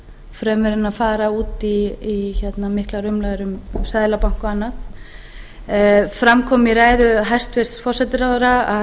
fremur en að fara út í miklar umræður um seðlabankann og annað fram kom í ræðu hæstvirts forsætisráðherra að